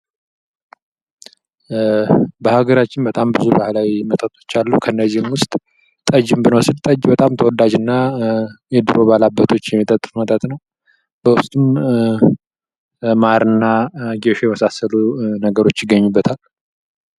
በሀገራችን በጣም ብዙ ባህላዊቶች መጠጦች አሉ ከነዚህም ውስጥ ጠጅ ብንወስድ በጣም ተወዳጅ እና የድሮ ባለአባቶች የሚጠጡት መጠጥ ነው። በውስጡ ማርና ጌሾ የመሳሰሉት ነገሮች ይገኙበታል።